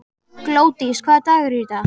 Glódís, hvaða dagur er í dag?